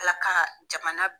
ALA ka jamana.